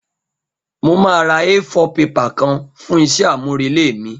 Mo máa ra A4 paper kan fún isé àmúrelé mí